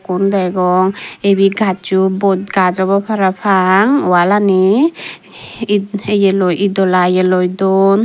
ful degong ibey gajjo bod gaaj obo parapang walani it yeloi itdola ye loi don.